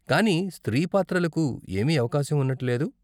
కానీ స్త్రీ పాత్రలకు ఏమీ అవకాశం ఉన్నట్టు లేదు.